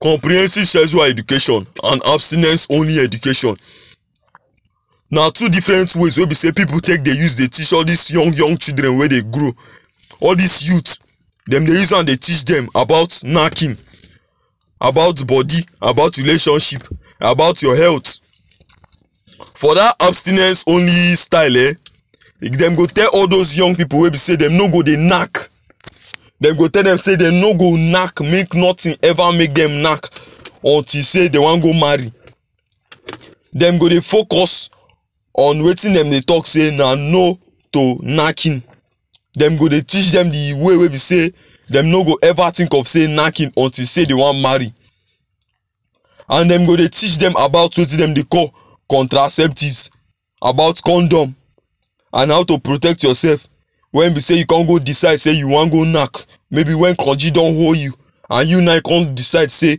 comprehensive sexual education and abstinence only education na two different ways wey be sey pipul take dey teach all dis young young children wey dey grow all dis youth dem dey use am dey teach dem about knacking about bodi about relationship about your health for dat abstinence onlystyle eh dem go tell all those young pipul wey be sey dem no go dey knack dem go tell dem say dem no go knack make notin ever make dem knack until sey dey wan go marry dem go dey focus on wetin dem go dey talk sey na no to knacking dem go dey teach dem di way wey be sey dem no go ever think of sey knacking untill sey dey wan marry and dey go dey teach dem about wetin dem dey call contraceptives about condom and how to protect yoursef wen be sey you com go decide say you wan go knack maybe wen konji don hold you aand you now you con decide say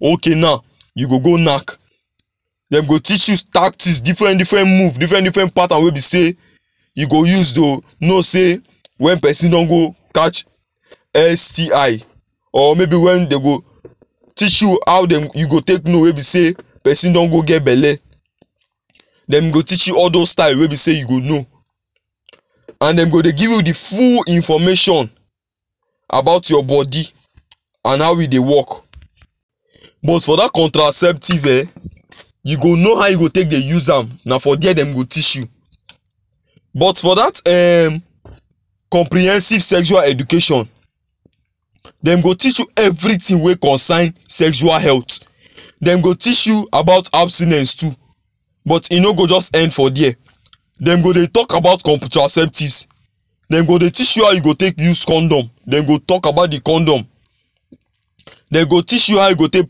ok naw you go go knack dem go teach you tactics difren difren moves difren difren patterns wey be sey you go use tho know sey wen pesin don go catch STI or maybe wen dey go teach you how dem e go take you know wey be say psin do go get belle dem go teach you all those style wey be say you go know and dey go dey give you di full information about your bodi and how e dey work but for dat contraceptive eh you go know how you go take dey use am na for there dem got each you but for dat em comprehensive sexual education dem go teach you everything wey concern sexual health them go teach you about abstinence too but e no go just end for there dem go dey talk about contraceptives dey teach you how you go take use condom dem go talk about the condom dey go teach you how you go take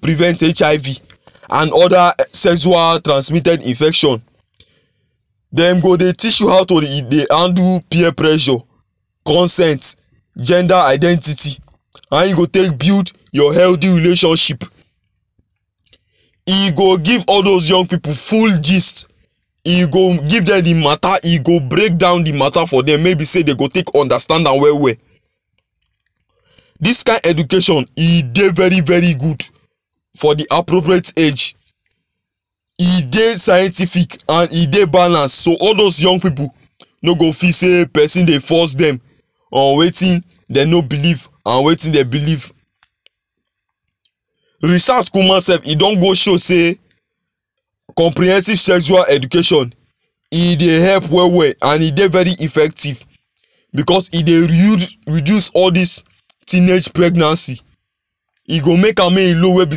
prevent HIV and oda em sexual transmitted infection dem go teach you how to dey handle peer pressure, consent, gender identity and how you go take build healthy relationship e go give all those young pipul full gist e go give dem the mata e go break down the mata for dem mey e be say dey go take understand am well well dis kind education e dey very very good fo the appropraite age e dey scientific and e dey balance so all those young pipul no go feel sey pesin dey force dem on wetin dem no believe and wetin dem believe research kuma sef e don go show sey comprehensive sexual education e dey help well well and e dey very effective becos e dey reude reduceall dis teenage pregnancy e go make am low wey be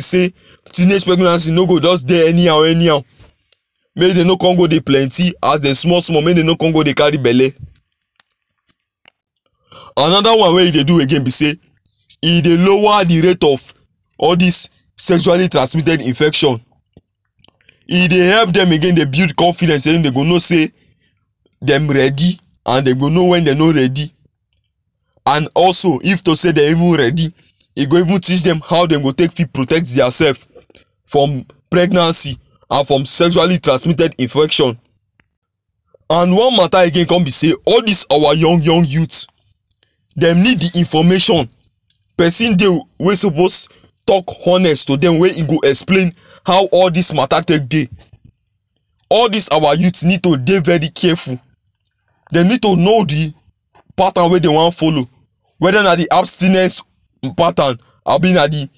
sey teenage pregnancy no go just dey anyhow anyhow make dey no com go dey plenty as dey small small make dem no com go dey carry belle anoda one wey e dey do again be sey e dey lower the rate of all dis sexually trasmitted infection e dey help dem again dey build confidence say dey go know sey dem ready and dem go know wen dem no ready and also if to say dey even ready e go even teach dem how dey go take fit protect dia sef from pregnancy and from sexually transmitted infection and one mata again com be sey all dis our young young youths dem need the information pesin dey wey suppose talk honest to dem wey e go explain how all dis mata take dey all dis our youths need to dey very careful dem need to know the pattern wey dey wan follow weda na the abstinence pattern abi na the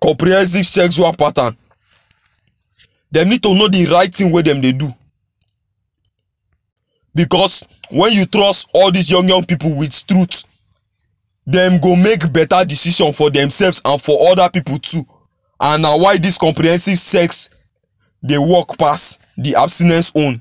comprehensive sexual pattern dem need to know the right thing wey dem dey do becos wen you trust all dis ypung young pipul with truth dem go make beta decision for dem sefs and for oda pipul too and na why dis comprehensive sex dey work pass the abstinence own